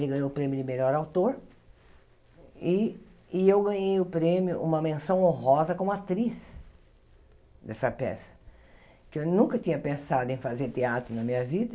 Ele ganhou o prêmio de melhor autor e e eu ganhei o prêmio, uma menção honrosa como atriz dessa peça, porque eu nunca tinha pensado em fazer teatro na minha vida,